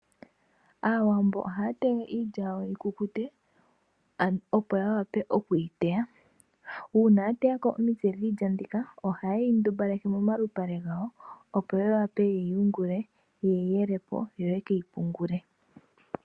Aawambo ohaa tege iilya yawo yi kukute opo yawape okwii teya. uuna ya teyako omitse dhiilya mbika oha yeyi ndumbaleke momalupale gawo opo yawape yeyi yungule, yeyi yelepo yoye keyi pungule.